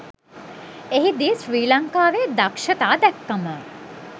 එහිදී ශ්‍රී ලංකාවේ දක්ෂතා දැක්කම